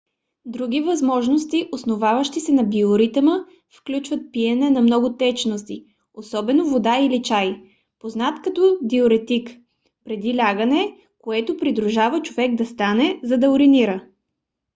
други възможности основаващи се на биоритъма включват пиене на много течности особено вода или чай познат като диуретик преди лягане което принуждава човек да стане за да уринира